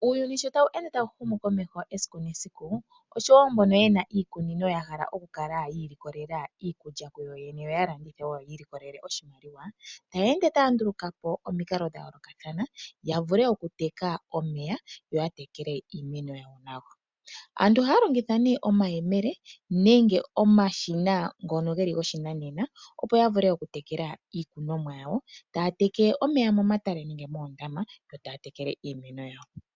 Uuyuni sho tawu ende tawu humu komeho esiku nesiku oshowo mbono yena iikunino yahala okukala yi ilikolela iikulya kuyo yene yo yalandithe woo, taye ende taa nduluka po omikalo dhayoolokathana yavule okuteka omeya yo yatekele iimeno yawo nawa. Aantu ohaa longitha nee omayemele nenge omashina ngono geli goshinanena opo yavule okutekela iikunomwa yawo, taa teke omeya momatale nenge moondama yo taa tekele iimeno yawo.